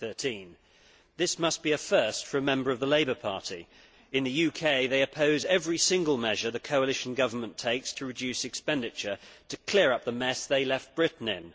2013. This must be a first for a Member of the Labour Party. In the UK they oppose every single measure the coalition government takes to reduce expenditure to clear up the mess they left Britain in.